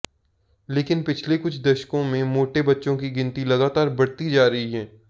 लेकिन पिछले कुछ दशकों में मोटे बच्चों की गिनती लगातार बढ़ती जा रही है